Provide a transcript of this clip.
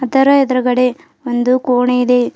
ಇದರ ಎದುರುಗಡೆ ಒಂದು ಕೋಣೆ ಇದೆ.